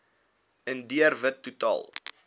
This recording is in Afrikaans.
indiër wit totaal